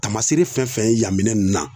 Tamasere fɛn fɛn ye yan minɛn nun na